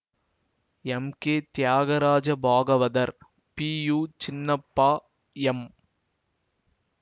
M K Thyagaraja Bhagavathar P U Chinnappa M